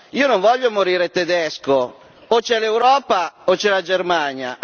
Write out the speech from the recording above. io non voglio morire tedesco o c'è l'Europa o c'è la Germania!